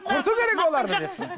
құрту керек оларды деп пе